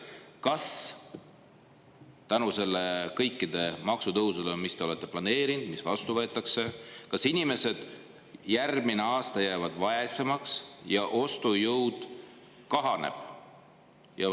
Kas tänu nendele kõikidele maksutõusudele, mida te olete planeerinud ja mis vastu võetakse, jäävad inimesed järgmine aasta vaesemaks ja ostujõud kahaneb?